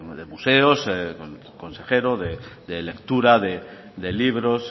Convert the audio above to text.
de museos con el consejero de lectura de libros